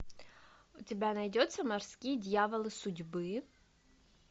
у тебя найдется морские дьяволы судьбы